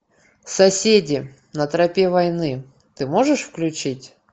соседи на тропе войны ты можешь включить